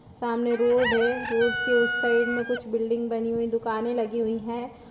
सामने रोड है रोड के उस साइड में कुछ बिल्डिंग बनी हुई दुकानें लगी हुई है |